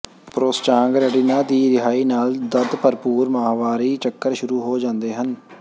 ਪ੍ਰੋਸਟਾਗਰੈਂਡਿਨਾਂ ਦੀ ਰਿਹਾਈ ਨਾਲ ਦਰਦ ਭਰਪੂਰ ਮਾਹਵਾਰੀ ਚੱਕਰ ਸ਼ੁਰੂ ਹੋ ਜਾਂਦੇ ਹਨ